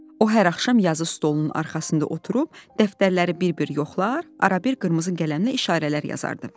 O hər axşam yazı stolunun arxasında oturub dəftərləri bir-bir yoxlar, arabir qırmızı qələmlə işarələr yazardı.